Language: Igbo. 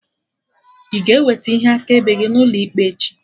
Ị ga-eweta ihe akaebe gị n'ụlọ ikpe echi?